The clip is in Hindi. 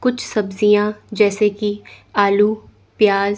कुछ सब्जियां जैसे की आलू प्याज--